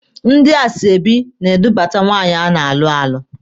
Ndị asoebi na-edupụta nwaanyị a na-alụ alụ.